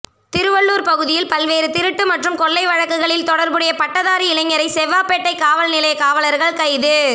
திருவள்ளூர் பகுதியில் பல்வேறு திருட்டு மற்றும் கொள்ளை வழக்குகளில் தொடர்புடைய பட்டதாரி இளைஞரை செவ்வாப்பேட்டை காவல் நிலைய காவலர்கள் கைது